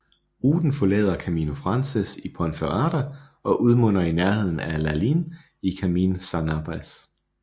Ruten forlader Camino Francés i Ponferrada og udmunder i nærheden af Lalín i Camino Sanabrés